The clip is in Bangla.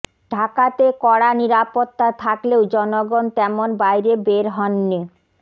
ঢাকাতে কড়া নিরাপত্তা থাকলেও জনগণ তেমন বাইরে বের হননি